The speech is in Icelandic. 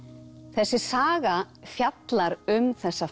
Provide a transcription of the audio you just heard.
þessi saga fjallar um þessa